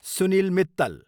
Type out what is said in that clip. Sunil Mittal